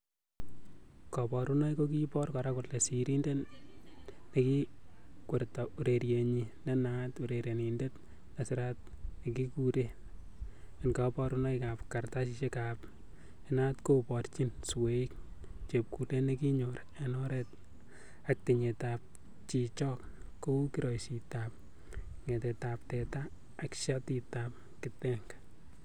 Koborunoik kokibor kora sirindet nekikwerto urerienyin nenaat, urerenindet nesirat nekiureren en koborunoik ab kartasisiek ab inat koborchin sweik, chepkulet nekikinyor en oret ak tinyetab chichok kou kiroisitab ngetetab teta ak shatitab kitenge.